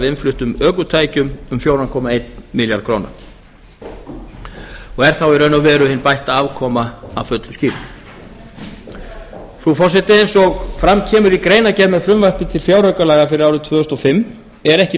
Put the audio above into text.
innfluttum ökutækjum um fjóra komma einn milljarð króna er þá í raun og veru hin bætta afkoma að fullu skýrð frú forseti eins og fram kemur í greinargerð með frumvarpi til fjáraukalaga fyrir árið tvö þúsund og fimm er ekki